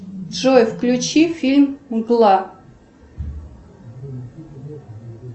джой включи фильм мгла